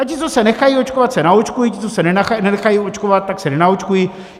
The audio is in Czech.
A ti, co se nechají očkovat, se naočkují, ti, co se nenechají naočkovat, tak se nenaočkují.